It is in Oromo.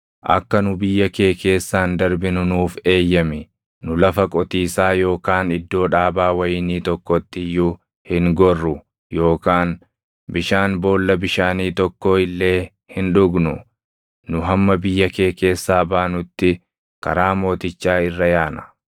“Akka nu biyya kee keessaan darbinu nuuf eeyyami. Nu lafa qotiisaa yookaan iddoo dhaabaa wayinii tokkotti iyyuu hin gorru yookaan bishaan boolla bishaanii tokkoo illee hin dhugnu. Nu hamma biyya kee keessaa baanutti karaa mootichaa irra yaana.”